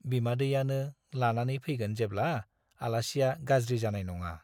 बिमादैयानो लानानै फैगोन जेब्ला-आलासिया गाज्रि जानाय नङा।